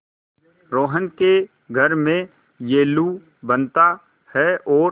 रोहन के घर में येल्लू बनता है और